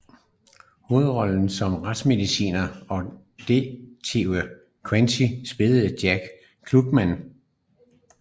Hovedrollen som retsmedicineren og detektiven Quincy spilledes af Jack Klugman